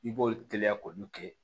I b'olu teliya k'olu kɛ